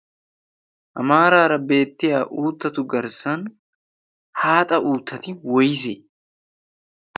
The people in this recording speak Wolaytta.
ha maaraara beettiya uuttatu garssan haaxa uuttati woyssee?